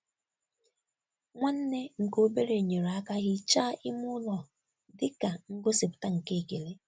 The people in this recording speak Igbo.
Nwanne nke obere nyere aka hichaa ime ụlọ dị ka ngosipụta nke ekele.